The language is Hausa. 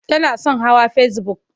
Tana son hawa fesibuk.